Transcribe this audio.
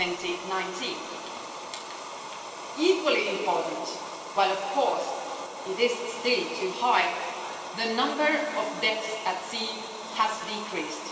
2019. Equally important, while of course it is still too high, the number of deaths at sea has decreased.